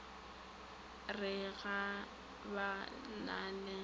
re ga ba na le